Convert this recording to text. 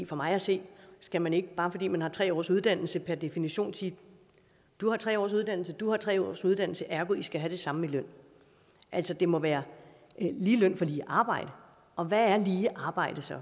for mig at se skal man ikke bare fordi man har tre års uddannelse per definition sige du har tre års uddannelse og du har tre års uddannelse ergo skal i have det samme i løn altså det må være lige løn for lige arbejde og hvad er lige arbejde så